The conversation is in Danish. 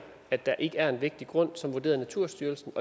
at der ikke er en vægtig grund sådan har naturstyrelsen